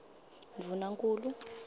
ndvunankhulu